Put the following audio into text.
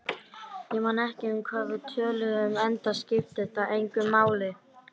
Bókahillur, með Íslendingasögunum og mörgum